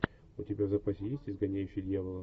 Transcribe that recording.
у тебя в запасе есть изгоняющий дьявола